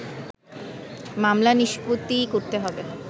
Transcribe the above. মামলা নিষ্পত্তি করতে হবে